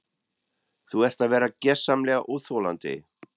Þú ert að verða gersamlega óþolandi!